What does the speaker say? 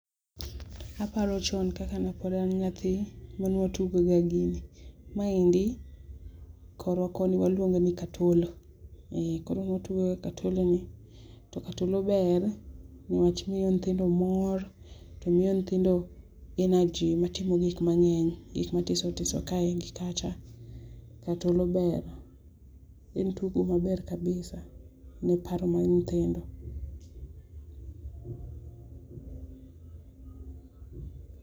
Aparo chon kaka ne pod an nyathi mane watugo ga gini. Maendie korwa koni waluonge ni katolo, koro ne watugoga katolo ni to katolo ber ni wach miyo nyithindo mor to miyo nyithindo energy mar timo gik mangeny gik matiso tiso kae gi kacha. Katolo ber en tugo maber kabisa ne paro mar nyithindo.